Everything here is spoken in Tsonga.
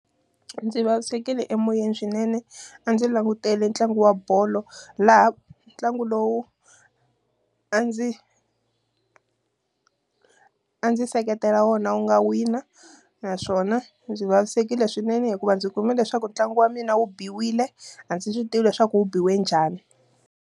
Ndzi vavisekile emoyeni swinene. A ndzi langutele ntlangu wa bolo, laha ntlangu lowu, a ndzi a ndzi seketela wona wu nga wina. Naswona ndzi vavisekile swinene hikuva ndzi kume leswaku ntlangu wa mina wu biwile, a ndzi swi tivi leswaku wu biwe njhani.